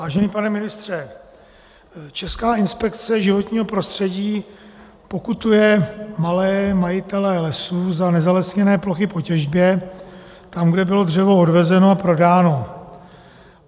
Vážený pane ministře, Česká inspekce životního prostředí pokutuje malé majitele lesů za nezalesněné plochy po těžbě tam, kde bylo dřevo odvezeno a prodáno.